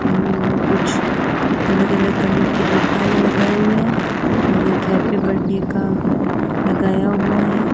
उम्म कुछ अलग-अलग करने के गुब्बारे लगाए हुए हैं और एक हैप्पी बर्थडे का लगाया हुआ है।